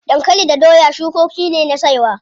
Dankali da doya cukoki ne na saiwa.